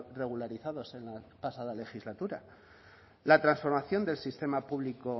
regularizados en la pasada legislatura la transformación del sistema público